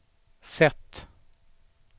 sätt